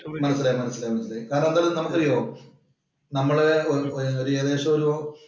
മനസിലായി, മനസിലായി കാരണം നമുക്കറിയോ നമ്മള് ഏകദേശം ഒരു